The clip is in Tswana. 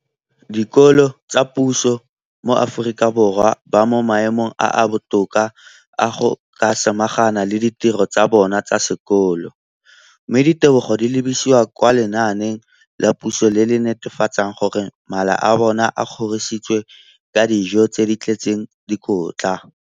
dikolo tsa puso mo Aforika Borwa ba mo maemong a a botoka a go ka samagana le ditiro tsa bona tsa sekolo, mme ditebogo di lebisiwa kwa lenaaneng la puso le le netefatsang gore mala a bona a kgorisitswe ka dijo tse di tletseng dikotla.